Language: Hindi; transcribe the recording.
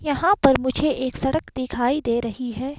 यहां पर मुझे एक सड़क दिखाई दे रही है।